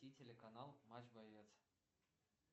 включи телеканал матч боец